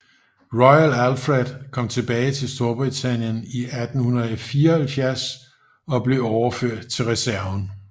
Royal Alfred kom tilbage til Storbritannien i 1874 og blev overført til reserven